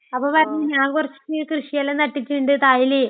അപ്പൊ പറഞ്ഞ് ഞാൻ കുറച്ചുകൃഷിയെല്ലാം നട്ടിട്ടുണ്ട് തായില്..